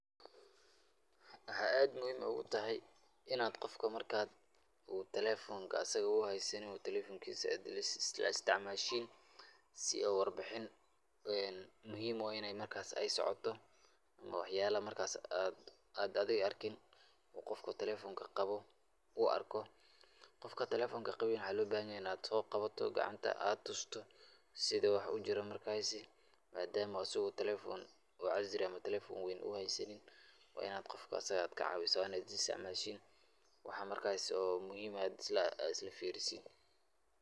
Waxaa aad muhiim u tahay in aad qofka marka aad telefonka asig uu haysanin telefonkiisa aad isla isticmaalashiin si oo warbixin muhiim u ah inay markaas ay socoto ama waxyaalaha markaas aad aad adiga arkin uu qofka telefonka qabo uu arko. Qofka telefonka qabin waxaa looga baahan yahay in aad soo qabato gacanta aad tusto sida wax u jiraan. Markaasi, maadama uu asig telephone oo casri ah ama telephone weyn uu haysanin, waa in aad qofka asiga ah aad ka caawiso, wana isla isticmaalashiin, waxa markaas oo muhiim ah isla fiirisiin.